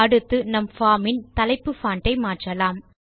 அடுத்து நம் பார்ம் இன் தலைப்பு பான்ட் ஐ மாற்றலாம்